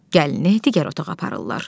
Gəlini digər otağa aparırlar.